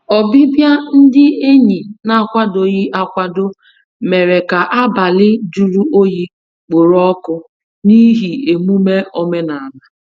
Ọbịbịa ndị enyi n'akwadoghị akwado mèrè ka abalị jụrụ oyi kporo ọkụ n'ihi emume omenala.